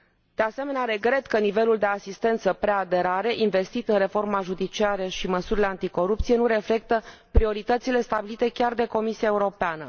De asemenea, regret că nivelul de asistență preaderare investit în reforma judiciară și măsurile anticorupție nu reflectă prioritățile stabilite chiar de Comisia Europeană.